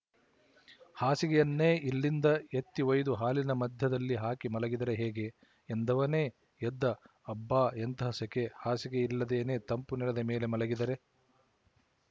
ಹಾಸಿಗೆಯನ್ನೇ ಇಲ್ಲಿಂದ ಎತ್ತಿ ಒಯ್ದು ಹಾಲಿನ ಮಧ್ಯದಲ್ಲಿ ಹಾಕಿ ಮಲಗಿದರೆ ಹೇಗೆ ಎಂದವನೇ ಎದ್ದ ಅಬ್ಬಾ ಎಂತಹ ಸೆಕೆ ಹಾಸಿಗೆ ಇಲ್ಲದೇನೆ ತಂಪು ನೆಲದ ಮೇಲೆ ಮಲಗಿದರೆ